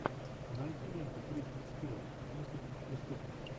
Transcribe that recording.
найди ленту кристен стюарт мыслить как преступник